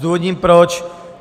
Zdůvodním proč.